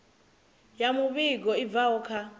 ya muvhigo i bvaho kha